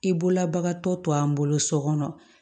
I bolola bagatɔ to an bolo sokɔnɔ